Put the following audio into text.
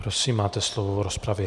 Prosím, máte slovo v rozpravě.